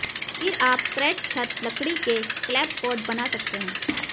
फिर आप क्रेट छत लकड़ी के क्लैपबोर्ड बना सकते हैं